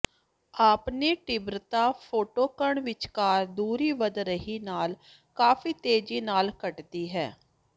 ਆਪਣੇ ਤੀਬਰਤਾ ਛੋਟੇਕਣ ਵਿਚਕਾਰ ਦੂਰੀ ਵਧ ਰਹੀ ਨਾਲ ਕਾਫੀ ਤੇਜ਼ੀ ਨਾਲ ਘਟਦੀ ਹੈ